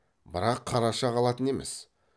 бірақ қараша қалатын емес